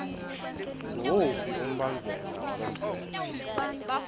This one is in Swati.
nguwuphi umbandzela walomtsetfo